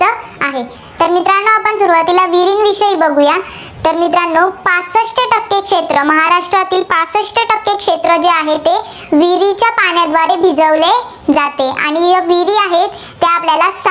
बघुया. तर मित्रांनो सहासष्ठ टक्के क्षेत्र, महाराष्ट्रातील सहासष्ठ टक्के क्षेत्र जे आहे, ते विहिरीच्या पाण्याने भिजवले जाते. आणि विहिरी आहेत, त्या आपल्याला